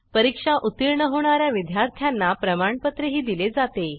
परीक्षा उत्तीर्ण होणा या विद्यार्थ्यांना प्रमाणपत्रही दिले जाते